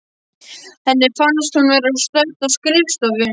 Henni fannst hún vera stödd á skrifstofu